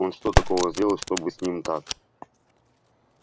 он что такого сделал чтобы с ним так